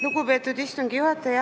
Lugupeetud istungi juhataja!